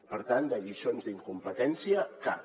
per tant de lliçons d’incompetència cap